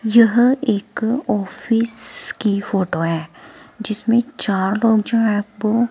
यह एक ऑफिस की फोटो हैं जिसमें चार लोग जो हैं वो--